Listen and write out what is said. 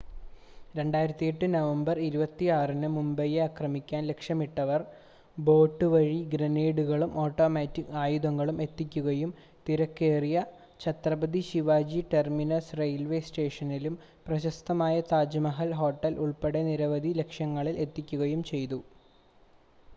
2008 നവംബർ 26-ന് മുംബൈയെ ആക്രമിക്കാൻ ലക്ഷ്യമിട്ടവർ ബോട്ട് വഴി ഗ്രനേഡുകളും ഓട്ടോമാറ്റിക് ആയുധങ്ങളും എത്തിക്കുകയും തിരക്കേറിയ ഛത്രപതി ശിവാജി ടെർമിനസ് റെയിൽവേ സ്റ്റേഷനിലും പ്രശസ്തമായ താജ്മഹൽ ഹോട്ടലും ഉൾപ്പെടെ നിരവധി ലക്ഷ്യങ്ങളിൽ എത്തുകയും ചെയ്തു